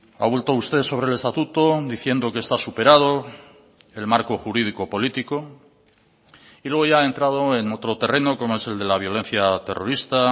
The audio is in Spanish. ha vuelto usted sobre el estatuto diciendo que está superado el marco jurídico político y luego ya ha entrado en otro terreno como es el de la violencia terrorista